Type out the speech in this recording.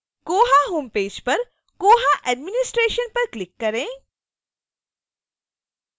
koha homepage पर koha administration पर click करें